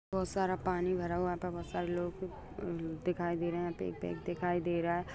बहुत सारा पानी भरा हुआ है यहां पे बहुत सारे लोग भी दिखाई दे रहे यहां पे। दिखाई दे रहा है|